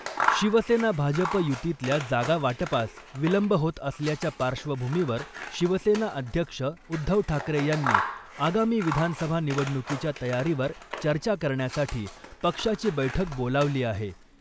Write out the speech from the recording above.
शिवसेना भाजप युतीतल्या जागा वाटपास विलंब होत असल्याच्या पार्श्वभूमीवर शिवसेना अध्यक्ष उद्धव ठाकरे यांनी आगामी विधानसभा निवडणुकीच्या तयारीवर चर्चा करण्यासाठी पक्षाची बैठक बोलावली आहे .